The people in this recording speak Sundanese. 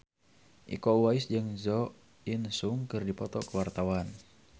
Iko Uwais jeung Jo In Sung keur dipoto ku wartawan